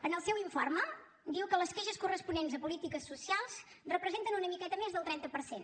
en el seu informe diu que les queixes corresponents a polítiques socials representen una miqueta més del trenta per cent